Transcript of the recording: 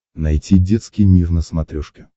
найти детский мир на смотрешке